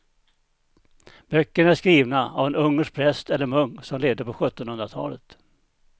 Böckerna är skrivna av en ungersk präst eller munk som levde på sjuttonhundratalet.